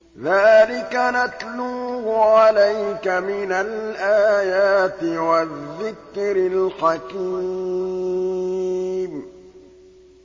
ذَٰلِكَ نَتْلُوهُ عَلَيْكَ مِنَ الْآيَاتِ وَالذِّكْرِ الْحَكِيمِ